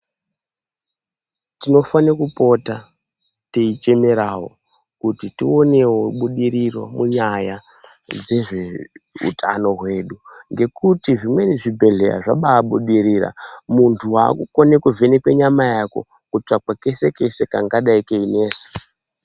Tinofane kupota teichemerawo kuti tionewo budiriro munyaya dzezveutano hwedu ngekuti zvimweni zvibhedhlera zvabaabudirira, muntu wakukone kuvhenekwa nyama yako, kutsvakwa kese, kese kangadai keinesa.